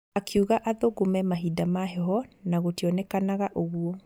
Akiuga athũngũ me mahinda ma heho na gũtionekanaga ũguo.